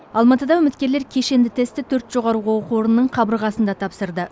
алматыда үміткерлер кешенді тестті төрт жоғарғы оқу орнының қабырғасында тапсырды